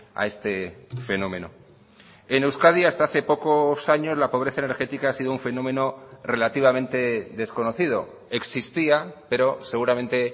a este fenómeno en euskadi hasta hace pocos años la pobreza energética ha sido un fenómeno relativamente desconocido existía pero seguramente